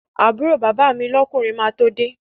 Àbúrò bàbá mi lọ́kùnrin máa tó de